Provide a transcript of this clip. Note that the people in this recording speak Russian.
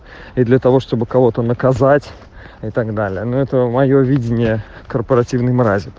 и для того чтобы кого-то наказать и так далее но это моё видение корпоративной мрази